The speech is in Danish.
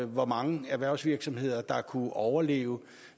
hvor mange erhvervsvirksomheder der kunne overleve